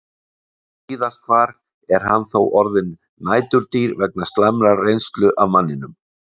Víðast hvar er hann þó orðinn næturdýr vegna slæmrar reynslu af manninum.